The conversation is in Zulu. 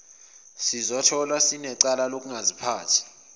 sizotholwa sinecala lokungaziphathi